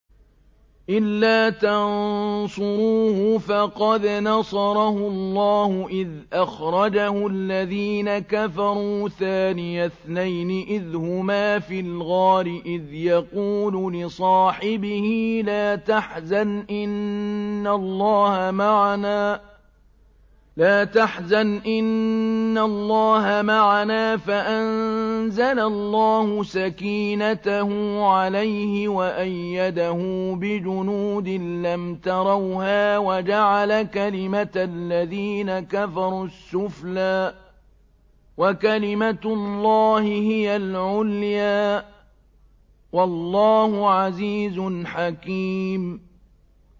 إِلَّا تَنصُرُوهُ فَقَدْ نَصَرَهُ اللَّهُ إِذْ أَخْرَجَهُ الَّذِينَ كَفَرُوا ثَانِيَ اثْنَيْنِ إِذْ هُمَا فِي الْغَارِ إِذْ يَقُولُ لِصَاحِبِهِ لَا تَحْزَنْ إِنَّ اللَّهَ مَعَنَا ۖ فَأَنزَلَ اللَّهُ سَكِينَتَهُ عَلَيْهِ وَأَيَّدَهُ بِجُنُودٍ لَّمْ تَرَوْهَا وَجَعَلَ كَلِمَةَ الَّذِينَ كَفَرُوا السُّفْلَىٰ ۗ وَكَلِمَةُ اللَّهِ هِيَ الْعُلْيَا ۗ وَاللَّهُ عَزِيزٌ حَكِيمٌ